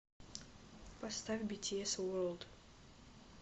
поставь битиэс ворлд